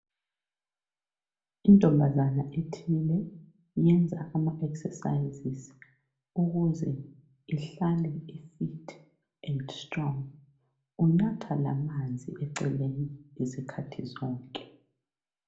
Intombazane ethile iyenza ama exercise ukuze ehlale e fit and strong. Unatha lamanzi eceleni isikhathi sonke.